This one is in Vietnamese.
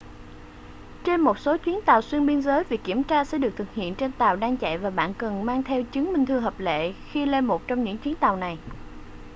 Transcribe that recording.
trên một số chuyến tàu xuyên biên giới việc kiểm tra sẽ được thực hiện trên tàu đang chạy và bạn cần mang theo chứng minh thư hợp lệ khi lên một trong những chuyến tàu này